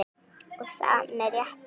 Og það með réttu.